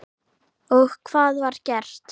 Og hvað var gert?